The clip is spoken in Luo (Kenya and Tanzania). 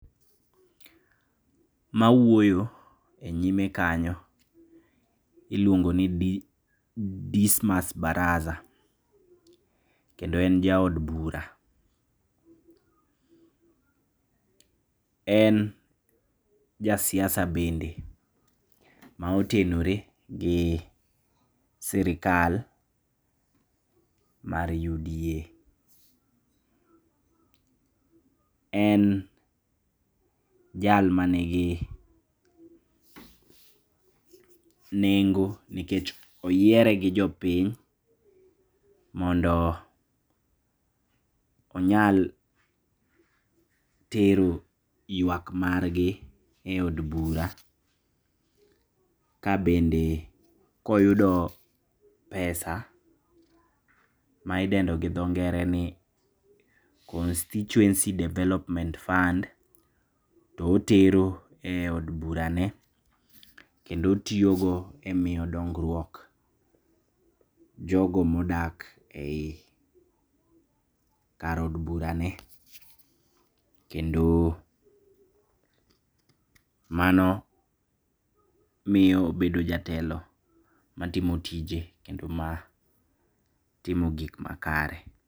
Mawuoyo e nyime kanyo iluongo ni Dismus Barasa, kendo en jaod bura. En jasiasa bende maotenore gi serikal mar UDA. En jal manigi nengo nikech oyiere gi jopiny mondo onyal tero yuak margi e od bura, kabende koyudo pesa maidendo gi dho ngere ni Constituency Development Fund, to otero e od burani, kendo otiyogo e miyo dongruok jogo modak ei kar od burane, kendo mano miyo obedo jatelo matimo tije, kendo matimo gik makare.